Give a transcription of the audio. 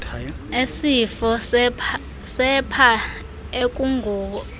esifo sepha ekungoku